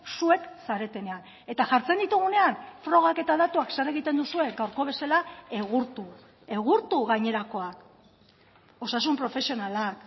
zuek zaretenean eta jartzen ditugunean frogak eta datuak zer egiten duzue gaurko bezala egurtu egurtu gainerakoak osasun profesionalak